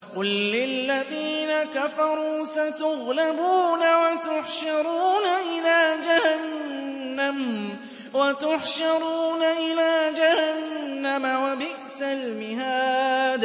قُل لِّلَّذِينَ كَفَرُوا سَتُغْلَبُونَ وَتُحْشَرُونَ إِلَىٰ جَهَنَّمَ ۚ وَبِئْسَ الْمِهَادُ